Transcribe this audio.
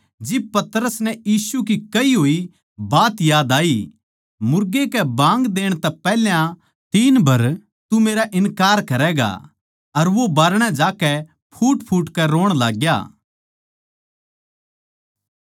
जिब पतरस नै यीशु की कही होई बात याद आई मुर्गे कै बाँग देण तै पैहल्या तीन बर तू मेरा इन्कार करैगा अर वो बारणै ज्याकै फूटफूट कै रोण लाग्या